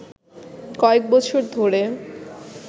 কয়েক বছর ধরে